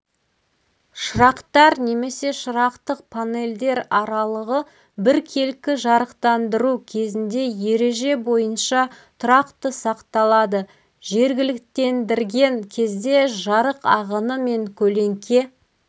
шырақтар немесе шырақтық панельдер аралығы біркелкі жарықтандыру кезінде ереже бойынша тұрақты сақталады жергіліктендірген кезде жарық ағыны мен көлеңке